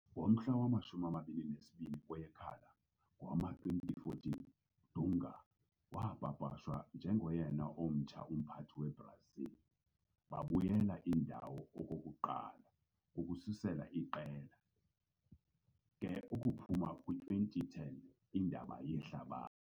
Ngomhla wama-22 kweyekhala ngowama-2014, Dunga wapapashwa njengoyena omtsha umphathi weBrazil, babuyela indawo okokuqala ukususela iqela ke ukuphuma kwi-2010 Indebe Yehlabathi.